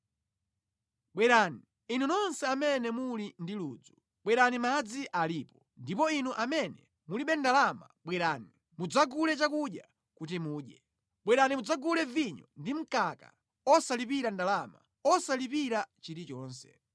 “Bwerani, inu nonse amene muli ndi ludzu, bwerani madzi alipo; ndipo inu amene mulibe ndalama bwerani, mudzagule chakudya kuti mudye! Bwerani mudzagule vinyo ndi mkaka osalipira ndalama, osalipira chilichonse.